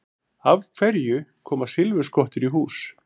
Af hverju koma silfurskottur í hús?